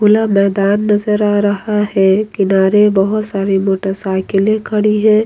खुला मैदान नजर आ रहा है किनारे बहुत सारी मोटरसाइकिलें खड़ी हैं।